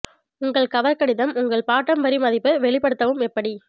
உங்கள் கவர் கடிதம் உங்கள் பாட்டம் வரி மதிப்பு வெளிப்படுத்தவும் எப்படி